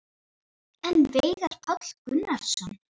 En Veigar Páll Gunnarsson?